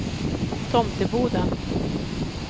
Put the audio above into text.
Tomteboda